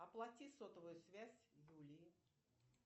оплати сотовую связь юлии